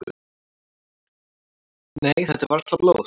"""Nei, þetta er varla blóð."""